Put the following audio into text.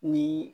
Ni